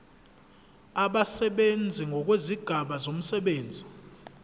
abasebenzi ngokwezigaba zomsebenzi